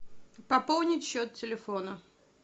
пополнить счет телефона